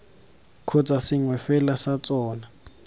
kgotsa sengwe fela sa tsona